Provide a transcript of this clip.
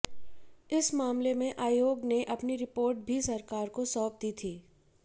इस मामले में आयोग ने अपनी रिपोर्ट भी सरकार को सौंप दी थी